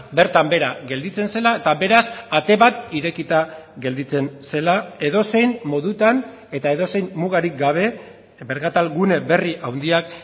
bertan behera gelditzen zela eta beraz ate bat irekita gelditzen zela edozein modutan eta edozein mugarik gabe merkatal gune berri handiak